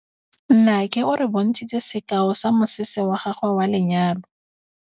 Nnake o re bontshitse sekaô sa mosese wa gagwe wa lenyalo.